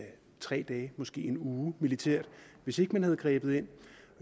tre dage måske en uge militært hvis ikke man havde grebet ind